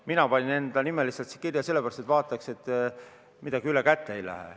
Mina panin enda kirja sellepärast, et vaataks, et midagi ülekäte ei läheks.